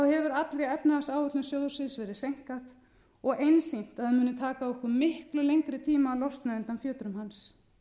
hefur allri efnahagsáætlun sjóðsins verið seinkað og einsýnt að það muni taka okkur miklu lengri tíma að losna undan fjötrum hans